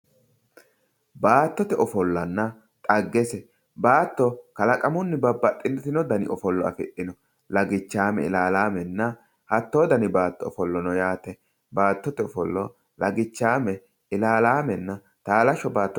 Baattote ofollanna dhaggese ,baatto kalaqamunni babbaxitino danni ofollo afidhino lagichame, ilalamenna hatto danni ofollo no yaate, baattote ofollo lagichame ilalamenna talasho baatto.